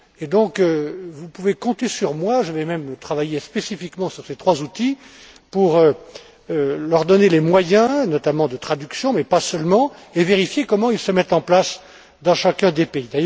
Donc, vous pouvez compter sur moi, je vais même travailler spécifiquement sur ces trois outils pour leur donner les moyens, notamment de traduction mais pas seulement, et vérifier comment ils se mettent en place dans chacun des pays.